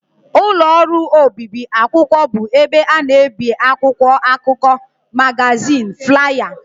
Ụlọ ọrụ obibi akwụkwọ bụ ebe a na-ebi akwụkwọ akụkọ, magazin, flaya wdg